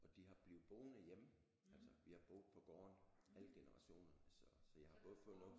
Og de har blevet boende hjemme altså vi har boet på gården alle generationerne så så jeg har både fået noget